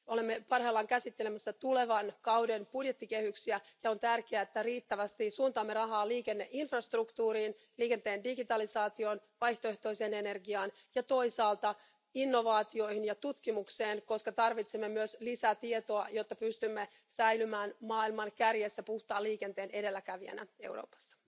Olemme parhaillaan käsittelemässä tulevan kauden budjettikehyksiä ja on tärkeää, että sijoitamme riittävästi rahaa liikenneinfrastruktuurin, liikenteen digitalisaatioon, vaihtoehtoiseen energiaan ja toisaalta innovaatioihin ja tutkimukseen, koska tarvitsemme myös lisää tietoa, jotta pystymme säilymään maailman kärjessä puhtaan liikenteen edelläkävijänä Euroopassa.